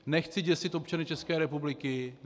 Nechci děsit občany České republiky.